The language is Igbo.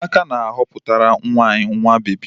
Amaka na-aghoputara nwa anyị nwa bebi